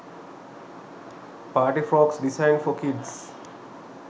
party frocks design for kids